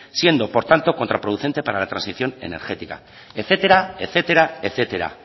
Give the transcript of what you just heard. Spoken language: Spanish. siendo por tanto contraproducente para la transición energética etcétera etcétera etcétera